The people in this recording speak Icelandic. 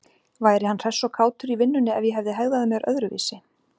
Væri hann hress og kátur í vinnunni ef ég hefði hegðað mér öðruvísi?